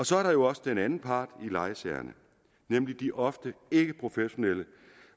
så er der jo også den anden part i lejesagerne nemlig de ofte ikkeprofessionelle